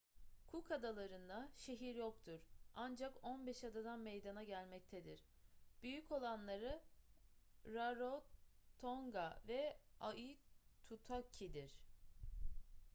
cook adaları'nda şehir yoktur ancak 15 adadan meydana gelmektedir büyük olanları rarotonga ve aitutaki'dir